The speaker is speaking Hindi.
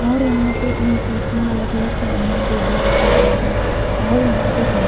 और यहां पे तीन कुर्सियां अलग अलग सामने टेबल रखा गया है और यहां पे कम--